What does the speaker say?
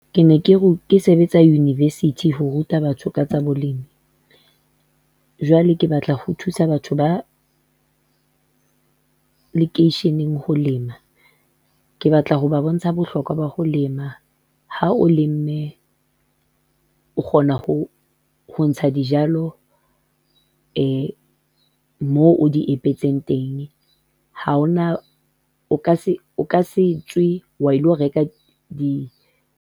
Ke ne ke sebetsa university ho ruta batho ka tsa boleng, jwale ke batla ho thusa batho ba lekeisheneng ho lema, ke batla ho ba bontsha bohlokwa ba ho lema. Ha o lemme, o kgona ho ntsha dijalo moo o di epetseng teng, o ka setswe wa ilo reka.